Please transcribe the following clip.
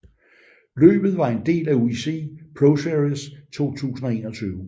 Løbet var en del af UCI ProSeries 2021